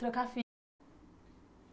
Trocar